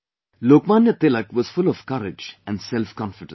Lokmanya Tilak was full of courage and selfconfidence